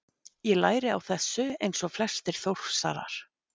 Ég læri á þessu eins og flestir Þórsarar.